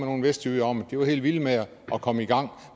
nogle vestjyder om det var helt vilde med at komme i gang